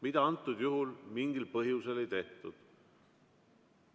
Seda antud juhul mingil ei põhjusel tehtud.